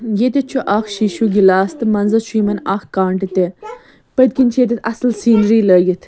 ییٚتٮ۪تھ چُھ اکھ شیٖشوٗگِلاس تہٕ منٛزس چُھ یِمن اکھ کانٛٹہٕ تہِ پٔتۍکِنۍ چھ یِیٚتٮ۪تھ اصل سیٖنری .لٲگِتھ